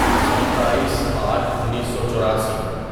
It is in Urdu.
ستائیس آٹھ انیسو چوراسی